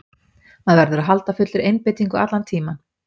Maður verður að halda fullri einbeitingu allan tímann.